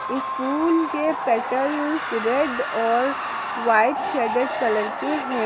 इस फूल के पेटल्स रेड और व्हाइट शेडेड कलर के हैं।